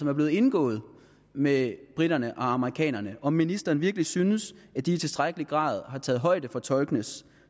er blevet indgået med briterne og amerikanerne om ministeren virkelig synes at de i tilstrækkelig grad har taget højde for tolkenes